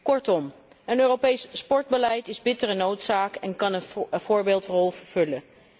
Kortom, een Europees sportbeleid is bittere noodzaak en kan een voorbeeldrol vervullen.